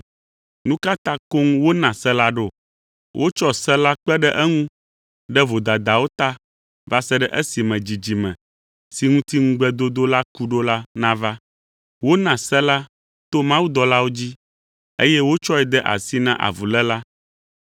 Nu ka ta koŋ wona se la ɖo? Wotsɔ se la kpe ɖe eŋu ɖe vodadawo ta va se ɖe esime dzidzime, si ŋuti ŋugbedodo la ku ɖo la nava. Wona se la to mawudɔlawo dzi, eye wotsɔe de asi na avuléla.